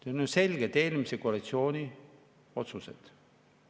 On ju selge, et eelmise koalitsiooni otsused.